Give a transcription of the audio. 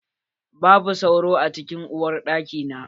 Babu sauro a cikin uwar daki na.